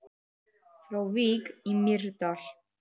Frá Vík í Mýrdal